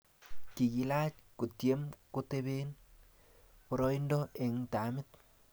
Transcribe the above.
Kikilach kotiem kotoben boroindo eng tamit